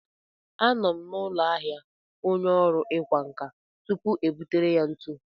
A nọ m n'ụlọ ahịa onye ọrụ ịkwa nkà tupuu e butere ya ntu.